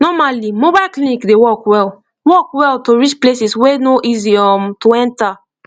normally mobile clinic dey work well work well to reach places wey no easy um to enter